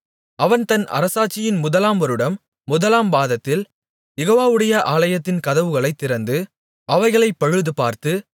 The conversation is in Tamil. அவன் தன் அரசாட்சியின் முதலாம் வருடம் முதலாம் மாதத்தில் யெகோவாவுடைய ஆலயத்தின் கதவுகளைத் திறந்து அவைகளைப் பழுதுபார்த்து